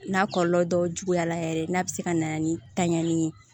N'a kɔlɔlɔ dɔw juguyara yɛrɛ n'a bɛ se ka na ni tanɲani ye